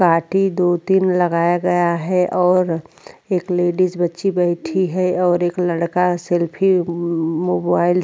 काठि दो तीन लगाया गया है और एक लेडिस बच्ची बैठी है और लड़का सेल्फी मो मोबाइल से --